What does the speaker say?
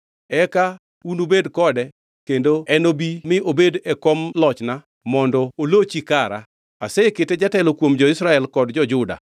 Eka unudhi kode kendo enobi mi obedi e kom lochna mondo olochi kara. Asekete jatelo kuom jo-Israel kod jo-Juda.”